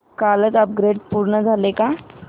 कालचं अपग्रेड पूर्ण झालंय का